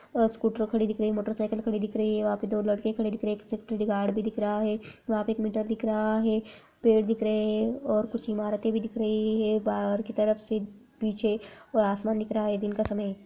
अ scooter खड़ी दिख रही है मोटरसाइकिल खड़ी दिख रही है वहाँ पे दो लड़के खड़े दिख रहे है एक सिक्योरिटी गार्ड भी दिख रहा है | वहाँ पे एक मीटर भी दिख रहा है पेड़ दिख रहे हैं और कुछ इमारतें भी दिख रही है बाहर की तरफ से पीछे और आसमान दिख रहा है दिन का समय है।